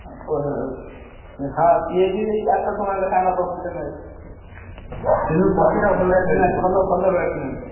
ଆଉ, ପ ହଁ ସିଏ ବି ସେଇ ଚାରିଶହ ଟଙ୍କା ଲେଖା ନବ ଗୋଟେ match କୁ। କିନ୍ତୁ ପତିଟା ଭଲ ଭଲ ଭଲ batsman ଟେ।